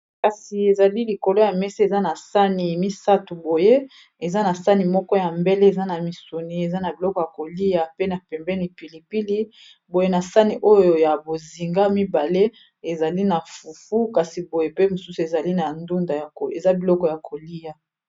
Kasi ezali likolo ya mesa eza na sani misatu boye eza na sani moko ya mbele eza na misuni eza na biloko ya kolia pe na pembeni pilipili boye na sani oyo ya bozinga mibale ezali na fufu kasi boye pe mosusu ezali na ndunda eza biloko ya kolia.